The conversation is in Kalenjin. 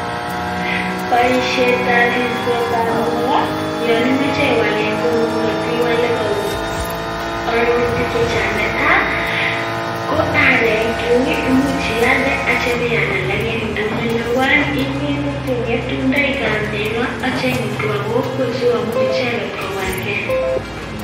Boishietab ribsetab negoo yon imoche iwal en kongung, iwole kou arorutik chechang. Netai ko aarek imuche ialdee ak ibeal aalak en ndonyo nebo oeng ingete chengetu chebo negoo imut kobaa kokwet sikomuch icheget kowalgee